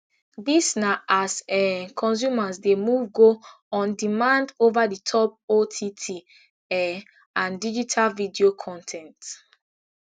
dis na as um consumers dey move go ondemand overthetop ott um and digital video con ten t